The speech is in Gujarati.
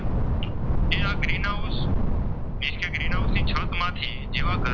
ગ્રીન હાઉસ ની છતમાંથી જેવા કે,